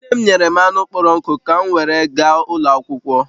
Nne m nyere m anụ kpọrọ nkụ ka m were gaa ụlọ akwụkwọ